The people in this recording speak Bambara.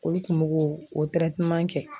Olu kun b'o ko kɛ.